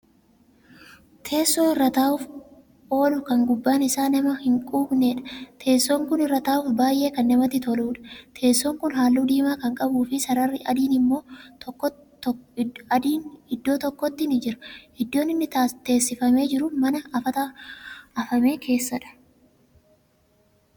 Teessoo irra taa'uuf oolu kan gubbaan isaa nama hin quuqneedha. Teessoon Kun irra taa'uuf baay'ee kan namatti toluudha. Teessoon kuni halluu diimaa Kan qabuufi sararri adiin iddoo tokkotti ni jira. Iddoon inni teessifamee jiru mana afata afame keessadha.